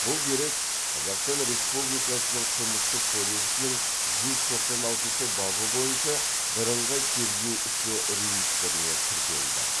бұл дерек қазақстан республикасының қылмыстық кодексінің жүз тоқсан алтыншы бабы бойынша бірыңғай тергеу ісі реестріне тіркелді